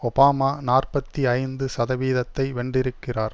Obama நாற்பத்தி ஐந்து சதவீதத்தை வென்றிருக்கிறார்